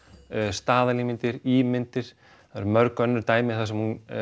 staðalímyndir ímyndir það eru mörg önnur dæmi þar sem hún